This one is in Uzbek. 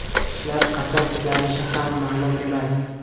Ishlar qachon tiklanishi ham ma’lum emas.